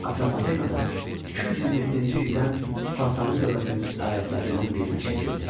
Atropatena 227-ci ildən Sasani dövlətinin əyalətlərindən birinə çevrildi.